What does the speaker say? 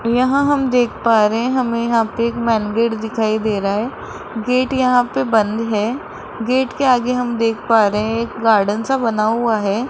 यहां हम देख पा रहे हैं हमें यहां पे एक मंदिर दिखाई दे रहा है गेट यहां पे बंद है गेट के आगे हम देख पा रहे हैं एक गार्डन सा बना हुआ है।